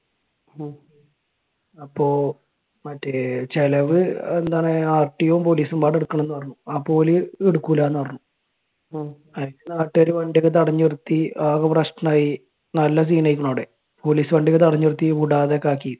അപ്പൊ മറ്റേ ചിലവ് എന്താണ് RTO യും പോലീസും എടുക്കണമെന്ന് പറഞ്ഞു. അപ്പൊ ഓര് എടുക്കൂലാന്ന് പറഞ്ഞ്. എന്നിട്ട് നാട്ടുകാര് വണ്ടിയൊക്കെ തടഞ്ഞ് നിർത്തി. ആകെ പ്രശ്നമായി. നല്ല scene ആയെക്കണ് അവിടെ. പോലീസ് വണ്ടിയൊക്കെ തടഞ്ഞ് നിർത്തി. വിടാതെ ഒക്കെ ആക്കി.